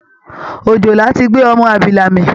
Òjòlá ti gbé ọmọ abilà mì